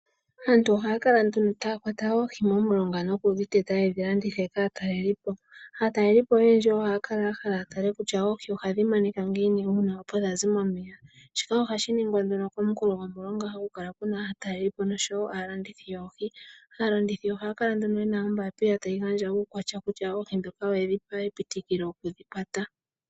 Aantu ohaya kwata oohi momulonga nokudhiteta. Opo yedhi landithe kaatalelipo. Aatalelipo oyendji ohaya kala yahala yatele kutya oohi ohadhi monika ngiini uuna opo dhazi momeya. Shoka ohashi ningwa nduno komunkulo gomulonga haku kala kuna aatalelipo osho wo aalandithi yoohi. Aalandithi yoohi ohaya kala yena oombapila tayi gandja uukwatya kutya oohi ndhoka oyedhi pewelwa epitikilo okudhikwata.